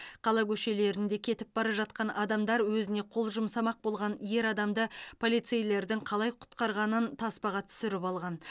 қала көшелерінде кетіп бара жатқан адамдар өзіне қол жұмсамақ болған ер адамды полицейлердің қалай құтқарғанын таспаға түсіріп алған